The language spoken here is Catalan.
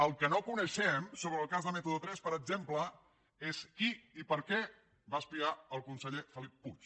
el que no coneixem sobre el cas de método tres per exemple és qui i per què va espiar el conseller felip puig